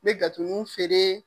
N be gatoninw feere.